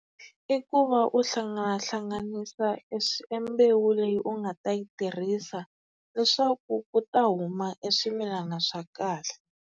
I ku va u hlangahlanganisa e mbewu leyi u nga ta yi tirhisa leswaku ku ta huma e swimilana swa kahle.